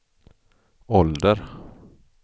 ålder